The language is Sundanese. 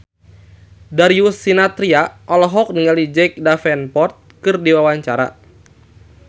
Darius Sinathrya olohok ningali Jack Davenport keur diwawancara